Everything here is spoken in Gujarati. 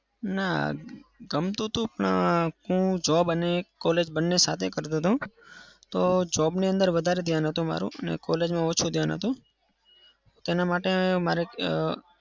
ના. ગમતું તું પણ હું job અને college સાથે કરતો હતો. તો job ની અંદર વધારે ધ્યાન હતું મારું અને college મા ઓછું ધ્યાન હતું. તેના માટે મારે